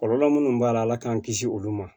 Kɔlɔlɔ minnu b'a la ala k'an kisi olu ma